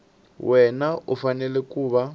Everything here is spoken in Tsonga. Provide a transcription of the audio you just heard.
wana u fanele ku va